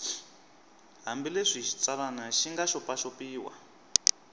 hambileswi xitsalwana xi nga xopaxopiwa